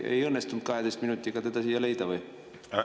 Ei õnnestunud 12 minutiga teda siia leida või?